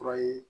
Kura ye